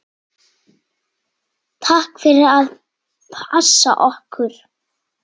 Takk fyrir að passa okkur.